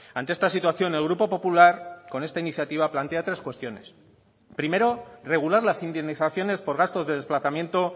ante esta situación el grupo popular con esta iniciativa plantea tres cuestiones primero regular las indemnizaciones por gastos de desplazamiento